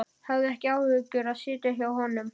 Hefur ekki áhuga á að sitja hjá honum.